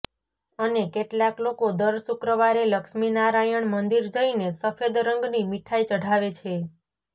અને કેટલાક લોકો દર શુક્રવારે લક્ષ્મી નારાયણ મંદિર જઈને સફેદ રંગની મીઠાઈ ચઢાવે છે